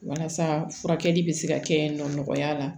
Walasa furakɛli bɛ se ka kɛ nɔ nɔgɔya la